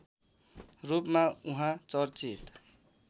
रूपमा उहाँ चर्चित